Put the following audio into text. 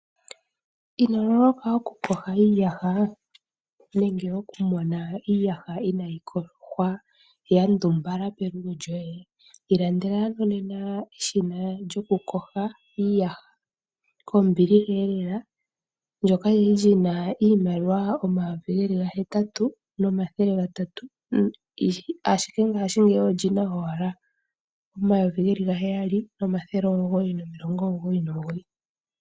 Inololoka okuyoga iiyaha nenge okumona iiyaha inayi yogwa ya ndumbala pelugo lyoye. Ilandela ano nena eshina lyokuyoga iiyaha, kombiliha elela, ndyono lyali lina iimaliwa omayovi geli gahetatu nomathele gatatu, ashike ngashingeyi oli na owala omayovi geli gaheyali nomathele omugoyi nomilongo omugoyi nomugoyi.